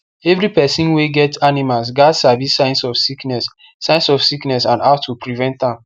every person wey get animals gats sabi signs of sickness signs of sickness and how to prevent am